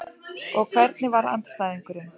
Og hvernig var andstæðingurinn?